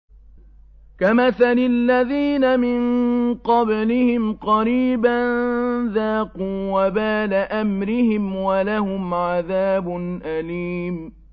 كَمَثَلِ الَّذِينَ مِن قَبْلِهِمْ قَرِيبًا ۖ ذَاقُوا وَبَالَ أَمْرِهِمْ وَلَهُمْ عَذَابٌ أَلِيمٌ